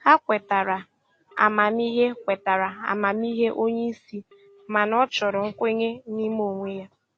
O kwetara amamihe kwetara amamihe onye isi, mana ọ chọrọ nkwenye n'ime onwe ya.